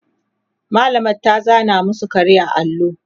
mallamar ta zana masu kare a allo